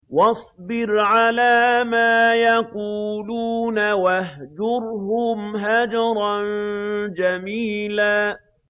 وَاصْبِرْ عَلَىٰ مَا يَقُولُونَ وَاهْجُرْهُمْ هَجْرًا جَمِيلًا